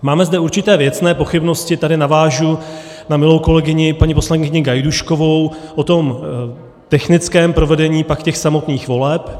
Máme zde určité věcné pochybnosti, tady navážu na milou kolegyni paní poslankyni Gajdůškovou, o tom technickém provedení pak těch samotných voleb.